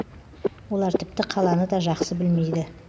олар тіпті қаланы да жақсы білмейді